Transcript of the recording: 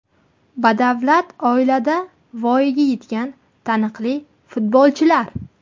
Badavlat oilada voyaga yetgan taniqli futbolchilar.